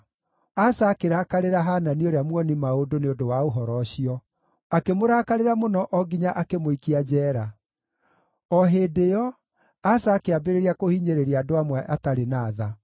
Asa akĩrakarĩra Hanani ũrĩa muoni-maũndũ nĩ ũndũ wa ũhoro ũcio; akĩmũrakarĩra mũno o nginya akĩmũikia njeera. O hĩndĩ ĩyo, Asa akĩambĩrĩria kũhinyĩrĩria andũ amwe atarĩ na tha.